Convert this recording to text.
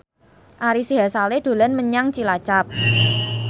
Ari Sihasale dolan menyang Cilacap